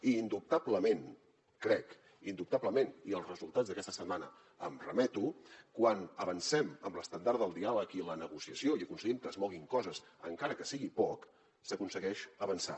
i indubtablement crec que i als resultats d’aquesta setmana em remeto quan avancem amb l’estendard del diàleg i la negociació i aconseguim que es moguin coses encara que sigui poc s’aconsegueix avançar